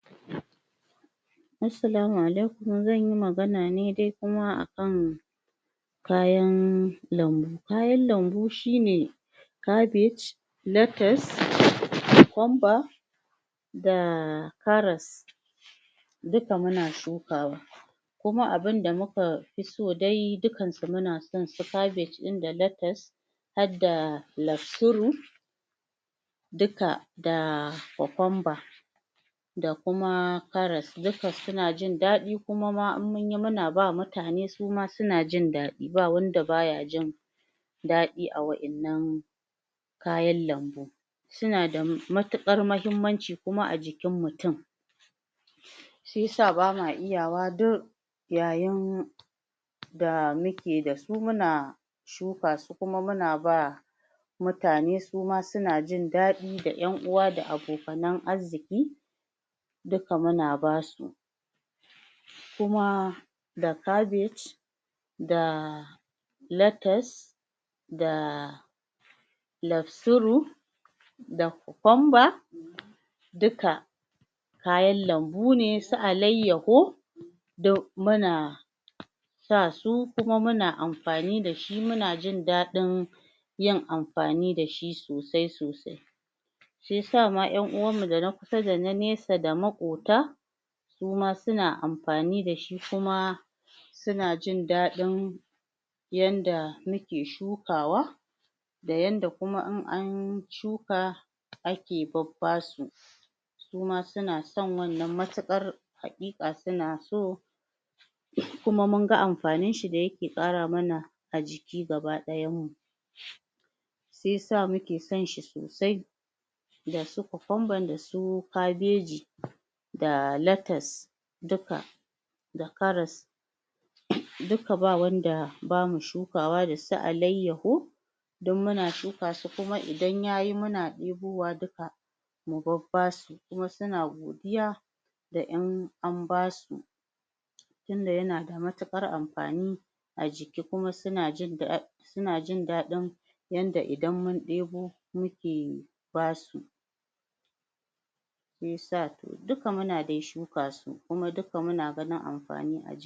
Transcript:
assalamu alaykum zan yi magana neh dai kuma akan kayan lambu kayan lambu shine cabbage lattas cucumber da karas duka muna shukawa kuma abinda muka fi so dai dukan su muna san su cabbage ɗin da latas hadda laksuru duka da cucumber da kuma karas dukka su jin daɗi kuma ma in munyi muna ba mutane suma suna jin daɗi ba wanda bayan jin daɗi a wa'yanan kayan lambu suna da matiƙar mahimmanci kuma a jikin mutun shiyasa bama iya wa duk yayin da muke da su muna shukasu kuma muna ba mutane suma suna jin daɗi da 'yan uwa abokanan arziki dukka muna basu kuma da cabbage da latas da laksuru da cucumber duka kayan lambu ne su aliyaho duk muna sa su kuma muna amfani dashi muna jin daɗin yin amfani dashi sosai sosai shi yasa ma 'yan uwan mu da na kusa da na nesa da maƙota suma suna amfani dashi kuma suna jin dadin yanda muke shukawa da yanda kuma in an shuka ake babbasu suma suna san wannan matiƙar haƙƙiƙa suna so kuma mun gan amfanin shi da yake ƙara mana a jiki gaba dayan mu shi yasa muke san shi sosai dasu cucumber dasu cabbaji da latas dukka da karas dukka babu wanda bama shukawa dasu alaiyaho duk muna shukasu su kuma idan yayi muna tsinkowa dukka mu babbasu kuma suna godiya da 'yan an basu tinda yanada matiƙar amfani a jiki kuma suna jindadi suna jin dadin yanda idan mun ibo muke basu shiyasa dukka muna dai shukasu kuma dukka muna ganin amfani a jiki